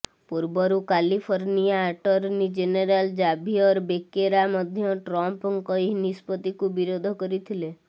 ପୂର୍ବରୁ California attorney general Xavier Becerra ମଧ୍ୟ ଟ୍ରମ୍ପଙ୍କ ଏହି ନିଷ୍ପତ୍ତିକୁ ବିରୋଧ କରିଥିଲେ